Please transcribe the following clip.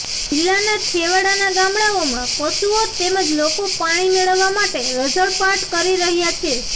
જિલ્લાના છેવાડાના ગામડાઓમાં પશુઓ તેમજ લોકો પાણી મેળવવા માટે રઝળપાટ કરી રહ્યા છે